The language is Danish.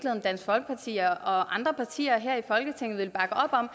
dansk folkeparti og andre partier her i folketinget vil bakke op om